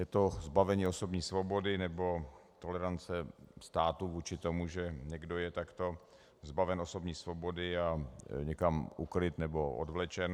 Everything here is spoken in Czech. Je to zbavení osobní svobody nebo tolerance států vůči tomu, že někdo je takto zbaven osobní svobody a někam ukryt nebo odvlečen.